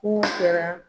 Kun kɛra